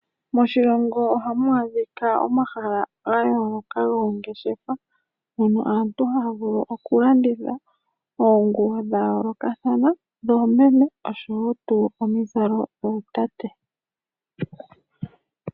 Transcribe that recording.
Moshilongo ohamu adhika omahala ga yooloka goongeshefa mono aantu haya vulu okulanditha oonguwo dha yoolokathana dhoomeme noshowo omizalo dhootate.